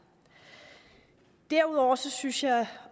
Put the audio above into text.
derudover synes jeg